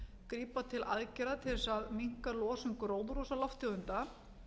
grípa til aðgerða til þess að minnka losun gróðurhúsalofttegunda